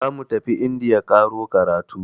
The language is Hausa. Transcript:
Zamu tafi indiya ƙaro karatu.